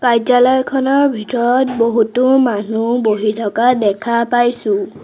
কাৰ্য্যালয়খনৰ ভিতৰত বহুতো মানুহ বহি থকা দেখা পাইছোঁ।